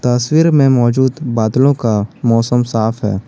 तस्वीर में मौजूद बादलों का मौसम साफ है।